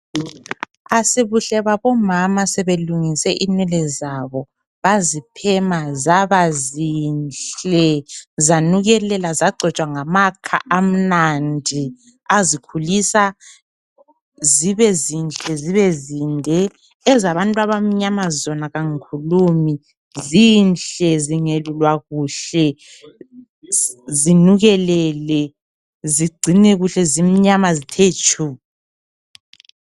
Asibuhle babomama sebelungise inwele zabo, baziphema zabazinhle zanukelela zagcotshwa ngamakha amnandi, azikhulisa zibezinhle zibezinde. Ezabantu abamnyama zona kangikhulumi, zinhle zingelulwa kuhle, zinukelele zigcine kuhle zimnyama zithe tshu.